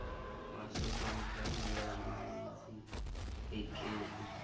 wa sefonthwane ya manetse hekeng